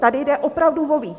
Tady jde opravdu o víc.